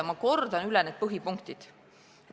Ma kordan üle need põhipunktid.